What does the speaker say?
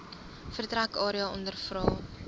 vertrek area ondervra